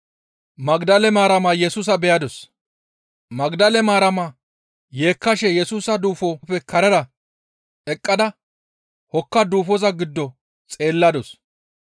Magdale Maarama yeekkashe Yesusa duufoppe karera eqqada hokka duufoza giddo xeelladus.